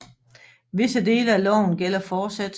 Visse dele af loven gælder fortsat